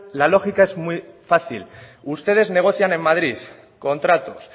la lógica es muy fácil ustedes negocian en madrid contratos